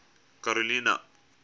karolina